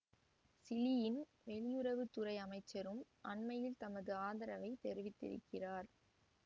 சிலியின் வெளியுறவு துறை அமைச்சரும் அண்மையில் தமது ஆதரவை தெரிவித்திருந்தார்